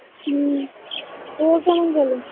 হু তোর কেমন গেলো